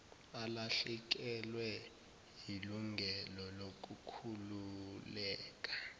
alahlekelwe yilungelo lokukhululeka